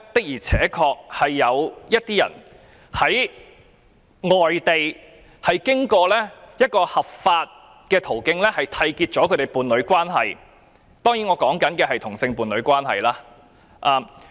現時有些人在外地經過合法途徑締結伴侶關係，我當然是指同性伴侶關係。